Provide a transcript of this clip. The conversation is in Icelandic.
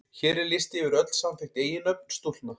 Hér er listi yfir öll samþykkt eiginnöfn stúlkna.